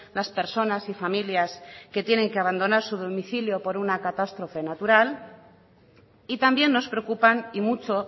las personas y familias que tienen que abandonar su domicilio por una catástrofe natural y también nos preocupan y mucho